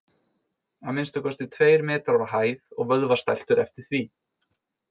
Að minnsta kosti tveir metrar á hæð og vöðvastæltur eftir því.